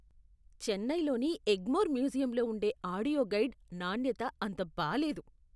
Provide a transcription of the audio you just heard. చెన్నైలోని ఎగ్మోర్ మ్యూజియంలో ఉండే ఆడియో గైడ్ నాణ్యత అంత బాలేదు.